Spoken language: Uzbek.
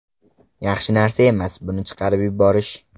Yaxshi narsa emas buni chiqarib yuborish.